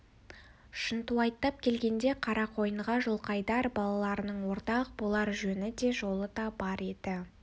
шынтуайттап келгенде қарақойынға жылқайдар балаларының ортақ болар жөні де жолы да бар еді